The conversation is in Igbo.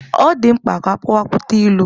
Ọ dị mkpa ka akọwapụta ilu.